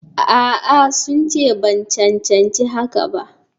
A'a, sun ce ban cancanci hakan ba.